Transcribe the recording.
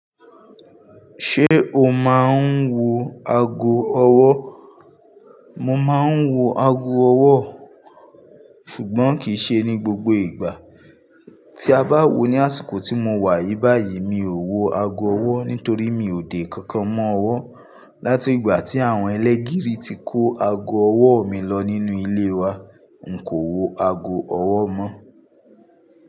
Ṣé o máa ń wo ago ọwọ́? Mo máa ń wo ago ọwọ́ ṣùgbọ́n kì í ṣe ní gbogbo ìgbà. Tí a bá wò ó ní àsìkò tí mo wà yìí báyìí, mi ò wo ago ọwọ́ nítorí mi ò dé nkankan mọ́ ọwọ́. Látìgbà tí àwọn ẹlẹ́gìrì tí kó ago ọwọ́ mi lọ nínú ilé wa, n kò wo ago ọwọ́ mọ́.